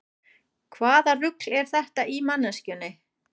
Hvaða rugl er þetta í manneskjunni?